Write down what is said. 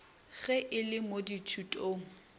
ge e le mo dithutong